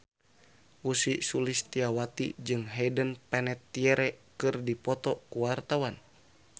Ussy Sulistyawati jeung Hayden Panettiere keur dipoto ku wartawan